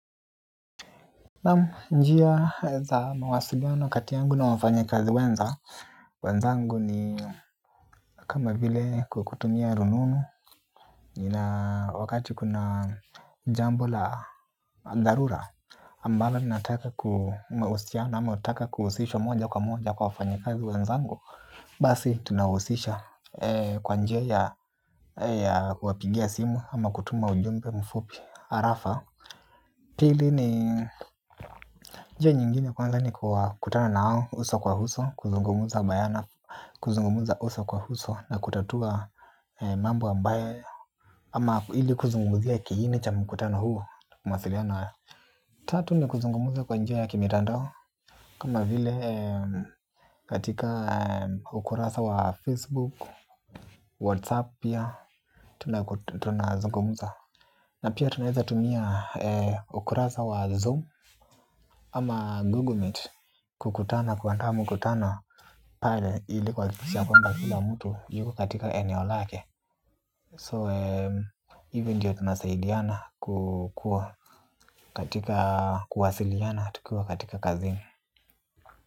Naam njia za mawasiliano kati yangu na wafanyikazi wenza. Wenzangu ni kama vile kukutumia rununu. Nina wakati kuna jambo la dharura ambalo ninataka ku mahusiano ama hutaka kuhusishwa moja kwa moja kwa wafanyikazi wenzangu basi tunahisisha kwa njia ya kuwapigia simu ama kutuma ujumbe mfupi arafa pili ni njia nyingine kwanza ni kuwa kukutano na wao, uso kwa uso, kuzungumza bayana, kuzungumza uso kwa uso na kutatua mambo ambaye ama hili kuzungumziq kiini cha mkutano hu na mawasialiano haya. Tatu ni kuzungumuza kwa njia ya kimitandao kama vile katika ukurasa wa Facebook, Whatsapp ya Tunazungumuza Na pia tunaeza tumia ukurasa wa Zoom. Ama Google Meet kukutana kuandaa mkutano. Pale ilikuwa kuhakikisha kwmba kila mtu yuko katika eneo lake So eeh hivi tunasaidiana kukua katika kuwasiliana tukiwa katika kazini.